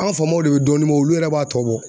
An ga famaw de be dɔɔnin bɔ olu yɛrɛ b'a tɔ bɔ